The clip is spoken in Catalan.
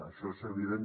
això és evident